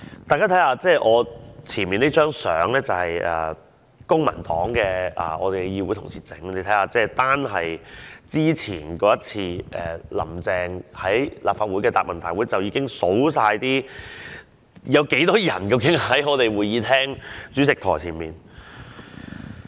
大家看看我前面這張圖片，是公民黨的議會同事印製的，單是之前那次"林鄭"在立法會的答問會，已經看到有多少保安人員在會議廳主席台前。